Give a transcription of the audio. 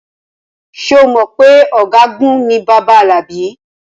Ṣé o mọ̀ pé ọ̀gágun ni bàbá Alabi?